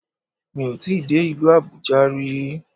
Mi ò tíì dé ìlú Àbújá ri